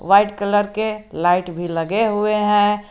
White colour के light भी लगे हुए हैं।